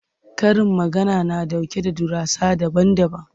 Karin magana na ɗauke da darussa daban-daban.